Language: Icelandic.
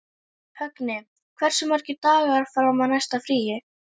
Högni, hversu margir dagar fram að næsta fríi?